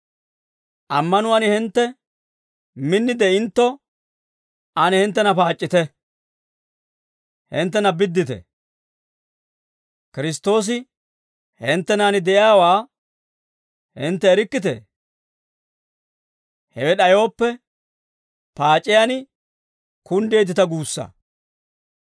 Ammanuwaan hintte min de'intto ane hinttena paac'c'ite; hinttena biddite. Kiristtoosi hinttenan de'iyaawaa hintte erikkitee? Hewe d'ayooppe paac'iyaan kunddeeddita guussa.